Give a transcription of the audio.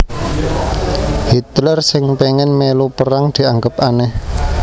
Hitler sing péngin mèlu perang dianggep anèh